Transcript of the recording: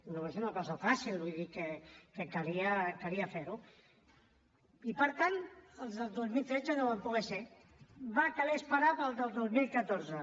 no és una cosa fàcil vull dir que calia fer ho i per tant els del dos mil tretze no van poder ser va caler esperar els del dos mil catorze